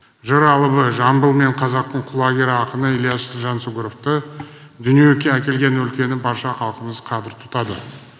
жыр алыбы жамбыл мен қазақтың құлагер ақыны ілияс жансүгіровті дүниеге әкелген өлкені барша халықымыз қадір тұтады